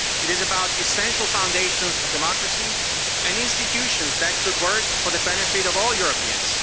It is about the essential foundations of democracy and institutions that should work for the benefit of all Europeans.